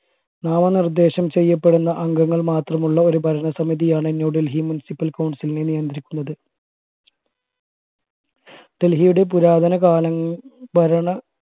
നാമ നിർദ്ദേശം ചെയ്യപ്പെടുന്ന അംഗങ്ങൾ മാത്രമുള്ള ഒരു ഭരണസമിതിയാണ് എ ന്യൂഡൽഹി municipal council നെ നിയന്ത്രിക്കുന്നത് ഡൽഹിയുടെ പുരാതന കാല ഭരണ